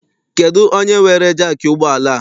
Kedụ onye weere jaakị ụgbọala a?